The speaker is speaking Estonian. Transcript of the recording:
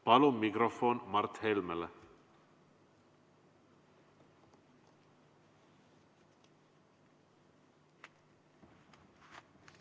Palun mikrofon Mart Helmele!